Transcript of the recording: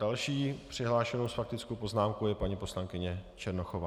Další přihlášenou s faktickou poznámkou je paní poslankyně Černochová.